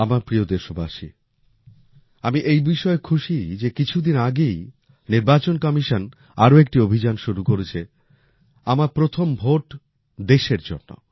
আমার প্রিয় দেশবাসী আমি এই বিষয়ে খুশী যে কিছুদিন আগেই নির্বাচন কমিশন আরও একটি অভিযান শুরু করেছে আমার প্রথম ভোট দেশের জন্য